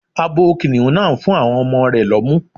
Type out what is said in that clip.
Abo Kìnnìún náà ń fún àwọn ọmọ rẹ̀ lọ́mú.